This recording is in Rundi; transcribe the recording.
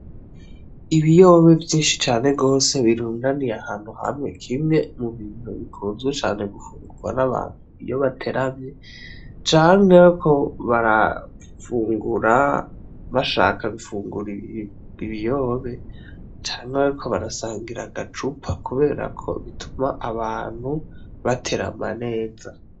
Ibiyobe vyinshi cane gose birundaniye ahantu hamwe , kimwe mu bintu bikunzwe cane gufungurwa n'abantu iyo bateramye canke bariko barafungura bashaka gufungura ibiyobe canke bariko barasangira agacupa kubera ko bituma abantu baterama neza .